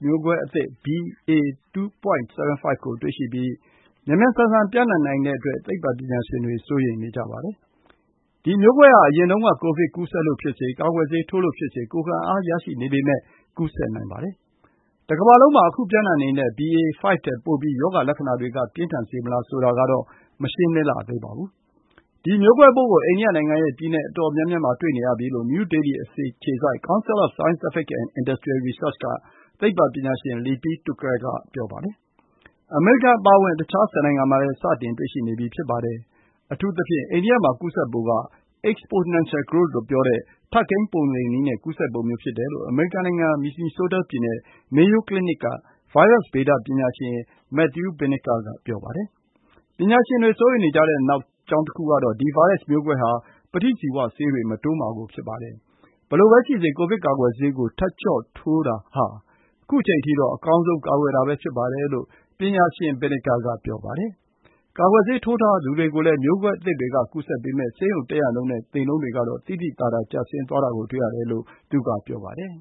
မျိုးကွဲအသစ် BA.2.75 ကို တွေ့ရှိပြီး မြန်မြန်ဆန်ဆန် ပျံ့နှံ့ နိုင်တဲ့အတွက် သိပ္ပံပညာရှင်တွေ စိုးရိမ်နေကြပါတယ်။ ဒီမျိုးကွဲဟာ အရင်တုန်းက ကိုဗစ် ကူးစက်လို့ဖြစ်စေ၊ ကာကွယ်ဆေးထိုးလို့ဖြစ်စေ ကိုယ်ခံအားရရှိနေပေမယ့် ကူးစက်နိုင်ပါတယ်။ တကမ္ဘာလုံးမှာ ခု ပျံ့နှံ့နေတဲ့ BA.5 ထက် ပိုပြီး ရောဂါလက္ခဏာတွေကို ပြင်းထန်စေမလား ဆိုတာကတော့ မရှင်းလင်းလှသေးပါဘူး။ ဒီ မျိုးကွဲပိုးကို အိန္ဒိယနိုင်ငံရဲ့ ပြည်နယ် အတော်များများမှာ တွေ့နေရပြီလို့ နယူးဒေလီအခြေစိုက်Council of Scientific and Industrial Research က သိပ္ပံပညာရှင် Lipi Thukral က ပြောပါတယ်။ အမေရိကန်အပါအဝင် အခြား ၁၀ နိုင်ငံမှာလည်း စတင်တွေ့ရှိနေပြီ ဖြစ်ပါတယ်။ အထူးသဖြင့် အိန္ဒိယမှာ ကူးစက်ပုံက exponential growth လို့ ပြောတဲ့ ထပ်ကိန်း ပုံသေနည်းနဲ့ ကူးစက်ပုံမျိုး ဖြစ်တယ်လို့ အမေရိကန်နိုင်ငံ မီနီဆိုးတား ပြည်နယ် Mayo Clinic က ဗိုင်းရပ်စ် ဗေဒပညာရှင် Matthew Binnicker က ဆိုပါတယ်။ ပညာရှင်တွေ စိုးရိမ်နေကြတဲ့ နောက် အကြောင်းတခုကတော့ ဒီဗိုင်းရပ်စ်မျိုးကွဲဟာ ပဋိဇီဝ ဆေးတွေ မတိုးမှာကို ဖြစ်ပါတယ်။ ဘယ်လိုပဲရှိစေ၊ ကိုဗစ် ကာကွယ်ဆေးကို ထပ်ကြော့ထိုးတာ ဟာ ခု အချိန်အထိတော့ အကောင်းဆုံး ကာကွယ်တာပဲဖြစ်ပါတယ်လို့ ပညာရှင် Binnicker က ပြောပါတယ်။ ကာကွယ်ဆေးထိုးထားသူတွေကိုလည်း မျိုးကွဲအသစ်တွေက ကူးစက်ပေမယ့် ဆေးရုံတက်ရနှုန်းနဲ့ သေနှုန်းတွေ ကတော့ သိသိသာသာ ကျဆင်းသွားတာကို တွေ့ရတယ်လို့ သူက ပြောပါတယ်